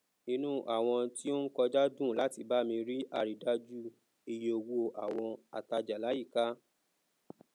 inú àwọn tí o n kọjá dùn láti bami rí aridájú iye owó àwon ataja layika